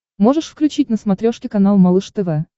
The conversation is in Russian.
можешь включить на смотрешке канал малыш тв